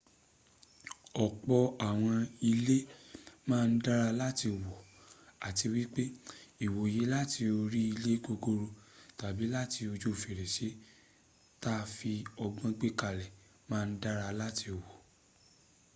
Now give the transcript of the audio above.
ọ̀pọ̀ àwọn ilẹ́ màa ń dára láti wò àti wípẹ́ ìwòye láti orí ilé gogoro tàbí làti ojú fèrèsè ta fi ọgbọ́n gbẹ̀kalè màa ǹ dára láti wò